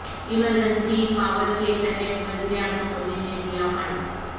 emergency power کے تحت وزیر اعظم مودی نے دیا فنڈ